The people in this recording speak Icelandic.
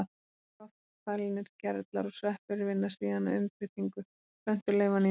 Loftfælnir gerlar og sveppir vinna síðan að umbreytingu plöntuleifanna í mó.